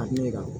A ɲɛ kan